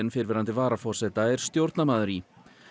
fyrrverandi varaforseta er stjórnarmaður í